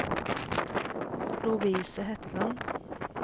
Lovise Hetland